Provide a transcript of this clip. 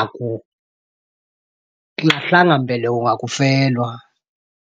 akulahlanga mbeleko ngakufelwa.